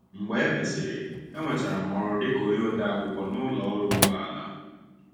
Mgbe e mesịrị, enwetara m ọrụ dịka onye odeakwụkwọ n’ụlọ ọrụ ụgbọala.